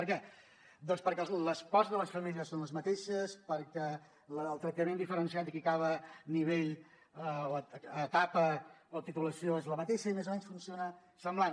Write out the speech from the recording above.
per què doncs perquè les pors de les famílies són les mateixes perquè la del tractament diferenciat de qui acaba nivell etapa o titulació és la mateixa i més o menys funciona semblant